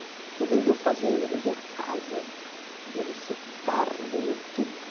Então vendeu fazenda, vendeu casa, vendeu-se o carro, vendeu tudo.